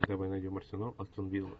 давай найдем арсенал астон вилла